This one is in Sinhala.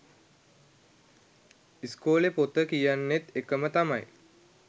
ඉස්කෝල පොත කියන්නෙත් ඒකම තමයි